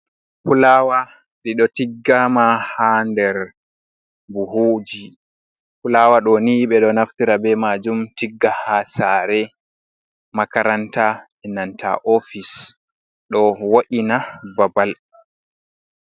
Fulawa dido tiggama ha der buhuji, fulawa doni be do naftira be majum tigga ha sare, makaranta, benanta ofis do wa’ina babal